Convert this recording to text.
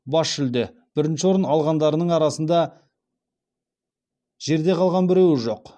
бас жүлде бірінші орын алғандарының арасында жерде қалған біреуі жоқ